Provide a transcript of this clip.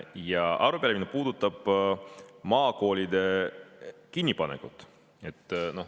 Ja arupärimine puudutab maakoolide kinnipanekut.